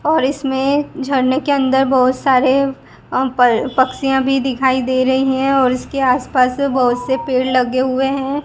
और इसमें झरने के अंदर बहुत सारे अ प पक्षियां भी दिखाई दे रही हैं और इसके आस पास में बहुत से पेड़ लगे हुए हैं।